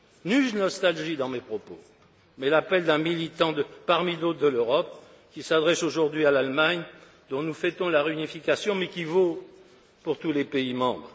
Nulle nostalgie dans mes propos, mais l'appel d'un militant parmi d'autres de l'Europe, qui s'adresse aujourd'hui à l'Allemagne, dont nous fêtons la réunification, mais qui vaut pour tous les pays membres.